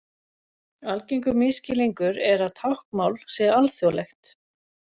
Algengur misskilningur er að táknmál sé alþjóðlegt.